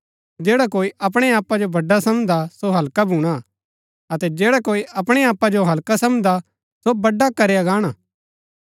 जैडा कोई अपणै आपा जो बड़ा समझदा सो हल्का भूणा अतै जैडा कोई अपणै आपा जो हल्का समझदा सो बड़ा करया गाणा